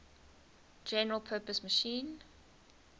general purpose machine